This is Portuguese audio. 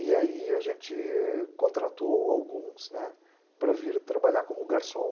E aí a gente contratou alguns, né, para vir trabalhar como garçom.